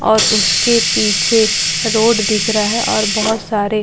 और उसके पीछे रोड दिख रहा है और बहुत सारे--